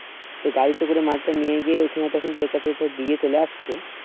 তো গাড়িতে করে মালটা নিয়ে গিয়ে ওখানে তখন তোর কাছে দিয়ে চলে আসত